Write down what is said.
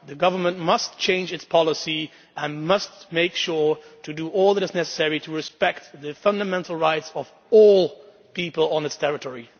The government must change its policy and must make sure that it does all that is necessary to respect the fundamental rights of all people on its territory.